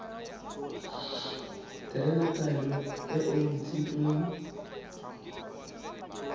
tewa taelo e e ntshitsweng